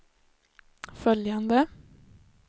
följande